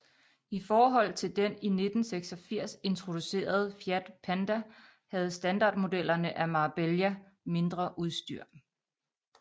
I forhold til den i 1986 introducerede Fiat Panda havde standardmodellerne af Marbella mindre udstyr